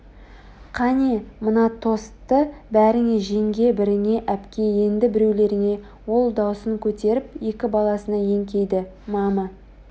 Қане мына тосты біріңе жеңге біріңе әпке енді біреулеріңе ол даусын көтеріп екі баласына еңкейді -мама